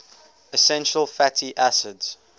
essential fatty acids